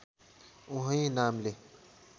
उही नामले